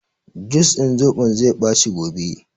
Jus din zoɓon zai ɓaci gobe